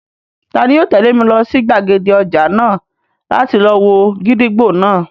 Tani yóò tẹ̀lé mi lọ sí gbàgede ọjà náà láti lọ wo gídígbò náà?